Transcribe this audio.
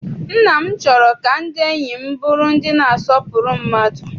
Nne m chọrọ ka ndị enyi m bụrụ ndị na-asọpụrụ mmadụ.